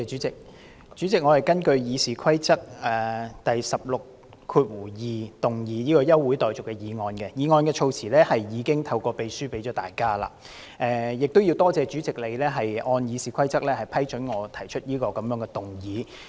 主席，我根據《議事規則》第162條動議休會待續議案，議案措辭已透過秘書送交各位同事，我亦感謝主席按《議事規則》批准動議這項議案。